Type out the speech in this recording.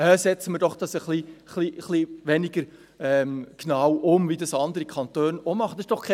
«Ach, setzen wir das doch ein bisschen weniger genau um, so wie dies andere Kantone auch machen.